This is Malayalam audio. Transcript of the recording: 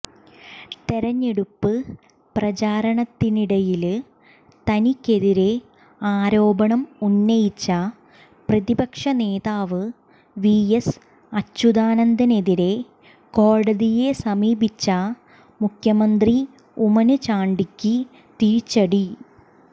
തെരഞ്ഞെടുപ്പ് പ്രചാരണത്തിനിടയില് തനിക്കെതിരെ ആരോപണം ഉന്നയിച്ച പ്രതിപക്ഷനേതാവ് വി എസ് അച്യുതാനന്ദനെതിരെ കോടതിയെ സമീപിച്ച മുഖ്യമന്ത്രി ഉമ്മന് ചാണ്ടിക്ക് തിരിച്ചടി